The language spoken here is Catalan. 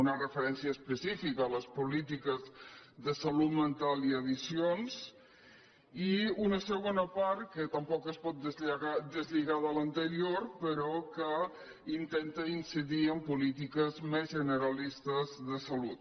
una referència específica a les polítiques de salut mental i addiccions i una segona part que tampoc es pot deslligar de l’anterior però que in·tenta incidir en polítiques més generalistes de salut